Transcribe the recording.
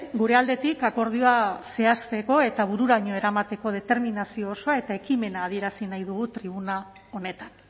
gure aldetik akordioa zehazteko eta bururaino eramateko determinazio osoa eta ekimena adierazi nahi dugu tribuna honetan